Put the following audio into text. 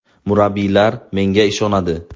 Murabbiylar menga ishonadi.